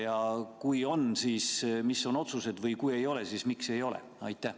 Ja kui on, siis mis on otsused, või kui ei ole, siis miks ei ole?